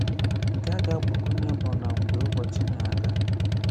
Nke a gà-àgbakwụnye bụ nà mgbè ụbọchị nà-àga.